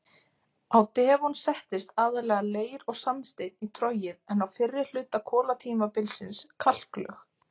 Á devon settist aðallega leir- og sandsteinn í trogið en á fyrri hluta kolatímabilsins kalklög.